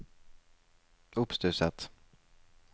oppstusset